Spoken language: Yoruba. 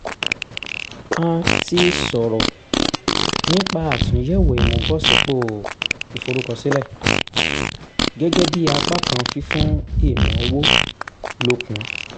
a ti sọ̀rọ̀ nípa àtúnyẹ̀wò ìmúbọ̀sípò ìforúkọsílẹ̀ gẹ́gẹ́ bí apá kan fífún ìnáwó lókun